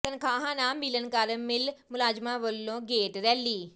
ਤਨਖਾਹਾਂ ਨਾ ਮਿਲਣ ਕਾਰਨ ਮਿੱਲ ਮੁਲਾਜ਼ਮਾਂ ਵੱਲੋਂ ਗੇਟ ਰੈਲੀ